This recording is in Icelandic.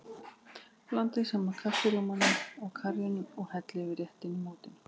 Blandið saman kaffirjómanum og karríinu og hellið yfir réttinn í mótinu.